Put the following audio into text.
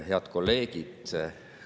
Head kolleegid!